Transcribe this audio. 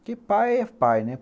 Porque pai é pai, né?